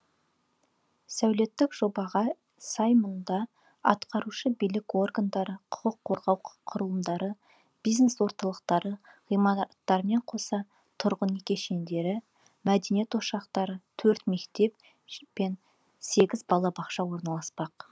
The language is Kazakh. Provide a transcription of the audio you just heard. сәулеттік жобаға сай мұнда атқарушы билік органдары құқық қорғау құрылымдары бизнес орталықтары ғимаратымен қоса тұрғын үй кешендері мәдениет ошақтары төрт мектеп пен сегіз балабақша орналаспақ